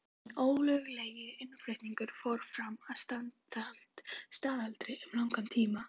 Hinn ólöglegi innflutningur fór fram að staðaldri um langan tíma.